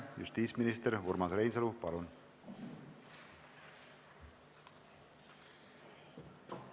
Justiitsminister Urmas Reinsalu, palun!